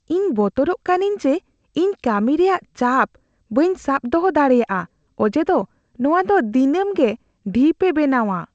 ᱤᱧ ᱵᱚᱛᱚᱨᱚᱜ ᱠᱟᱹᱱᱟᱹᱧ ᱡᱮ ᱤᱧ ᱠᱟᱹᱢᱤ ᱨᱮᱭᱟᱜ ᱪᱟᱯ ᱵᱟᱹᱧ ᱥᱟᱵ ᱫᱚᱦᱚ ᱫᱟᱲᱮᱭᱟᱜᱼᱟ ᱚᱡᱮ ᱫᱚ ᱱᱚᱣᱟ ᱫᱚ ᱫᱤᱱᱟᱹᱢ ᱜᱮ ᱰᱷᱤᱯᱮ ᱵᱮᱱᱟᱣᱟ ᱾